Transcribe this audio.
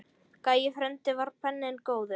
Gæi frændi var penni góður.